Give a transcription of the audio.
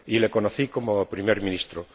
Y le conocí como Primer Ministro.